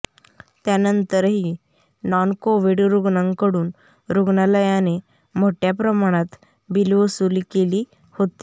त्यानंतरही non COVID रुग्णांकडून रुग्णालयाने मोठ्या प्रमाणात बिल वसुली केली होती